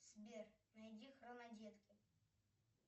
сбер найди хронодетки